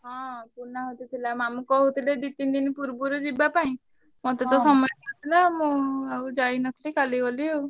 ହଁ ପୂର୍ଣ୍ଣାହୁତି ଥିଲା ମାମୁଁ କହୁଥିଲେ ଦି ତିନି ଦିନି ପୂର୍ବୁରୁ ଯିବା ପାଇଁ ମତେ ତ ସମୟ ନ ଥିଲା ମୁଁ ଆଉ ଯାଇ ~ନ ~ଥିଲି କାଲି ଗଲି ଆଉ।